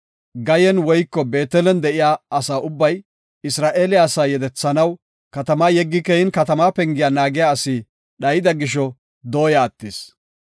Gayen woyko Beetelen de7iya asa ubbay, Isra7eele asaa yedethanaw katamaa yeggidi keyin katama pengiya naagiya asi dhayida gisho; dooya attis.